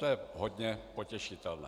To je hodně potěšitelné.